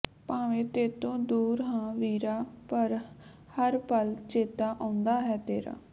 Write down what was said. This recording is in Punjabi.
ਭਾਵੇ ਤੇਤੋ ਦੂਰ ਹਾਂ ਵੀਰਾ ਪਰ ਹਰ ਪਲ ਚੇਤਾ ਆਉਂਦਾ ਹੈ ਤੇਰਾ